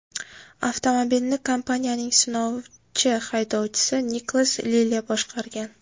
Avtomobilni kompaniyaning sinovchi haydovchisi Niklas Lilya boshqargan.